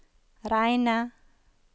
reine